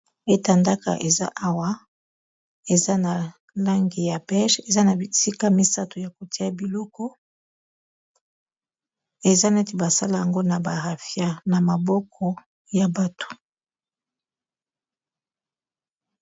Etandaka eza awa, eza na langi ya peche. Eza na bisika misato ya kotia biloko. Eza neti basala yango na barafia, na maboko ya bato.